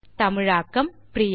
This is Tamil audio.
தமிழாக்கம் பிரியா